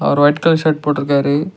அவர் white colour shirt போட்ருக்காரு.